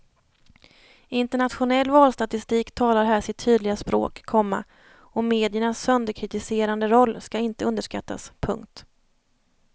Internationell valstatistik talar här sitt tydliga språk, komma och mediernas sönderkritiserande roll ska inte underskattas. punkt